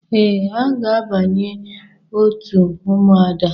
Ee, aga abanye òtù Ụmụada.